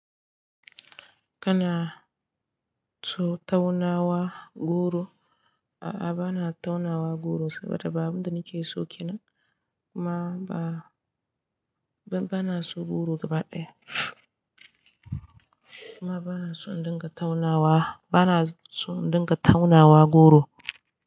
Kana so taunawa goro? A'a, ba na taunawa goro saboda ba abin da nake so kenan. Kuma ba, ba na so goro gaba ɗaya. Kuma ba na so in dinga taunawa, ba na so in dinga taunawa goro.